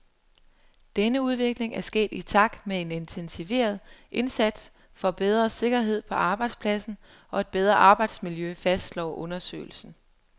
Denne udvikling er sket i takt med en intensiveret indsats for bedre sikkerhed på arbejdspladsen og et bedre arbejdsmiljø, fastslår undersøgelsen.